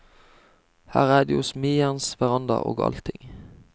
Her er det jo smijernsveranda og allting.